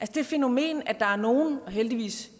det fænomen at der er nogen heldigvis